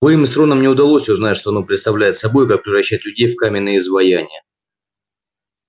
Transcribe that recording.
увы им с роном не удалось узнать что оно представляет собой и как превращает людей в каменные изваяния